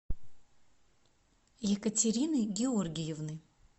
екатерины георгиевны